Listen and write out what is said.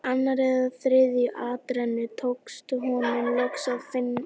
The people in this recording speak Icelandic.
Í annarri eða þriðju atrennu tókst honum loks að finna rétt hús.